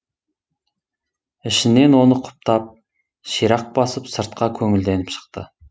ішінен оны құптап ширақ басып сыртқа көңілденіп шықты